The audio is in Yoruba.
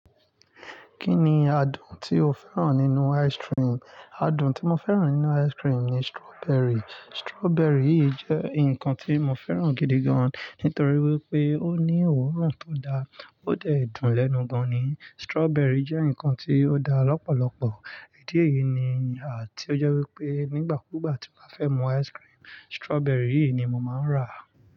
Kí ni adùn tí o fẹ́ràn nínú ice cream? Adùn tí mo fẹ́ràn nínú ice cream ni strawberry. Strawberry yìí jẹ́ nǹkan tí mo fẹ́ràn gidi gan, nítorí wípé ó ní òórùn tó daa, ó dẹ̀ dùn lẹ́nu gan-an ni. Strawberry jẹ́ nǹkan tí ó da lọ́pọ̀lọpọ̀ idi niyìí ni, ti ó jẹ́ wípé nígbà kúgbà tí mo fẹ́ mu ice cream, strawberry yìí ni mo máa ń rà.